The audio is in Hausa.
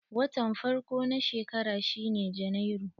Watan farko na shekara shine Janairu.